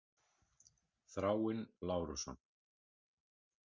Þráinn Lárusson.